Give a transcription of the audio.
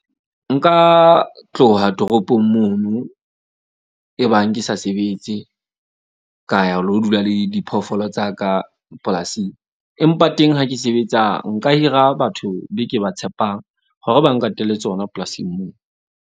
Nka tloha toropong mono, e bang ke sa sebetse. Ka ya ho lo dula le diphoofolo tsa ka polasing, empa teng ha ke sebetsa nka hira batho be ke ba tshepang hore ba nkatele tsona polasing moo.